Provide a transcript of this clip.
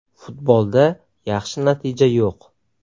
Futbolda yaxshi natija yo‘q.